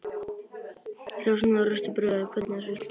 Þrjár sneiðar af ristuðu brauði en hvernig sultu?